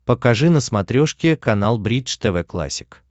покажи на смотрешке канал бридж тв классик